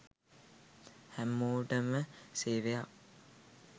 හැමෝටම සේවයක්.